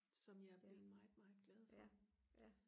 som jeg er blevet meget meget glad for